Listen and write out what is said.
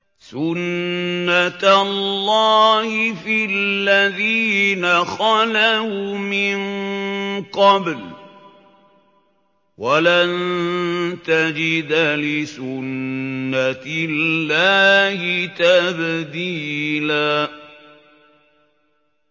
سُنَّةَ اللَّهِ فِي الَّذِينَ خَلَوْا مِن قَبْلُ ۖ وَلَن تَجِدَ لِسُنَّةِ اللَّهِ تَبْدِيلًا